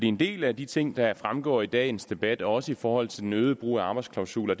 en del af de ting der fremgår af dagens debat også i forhold til den øgede brug af arbejdsklausuler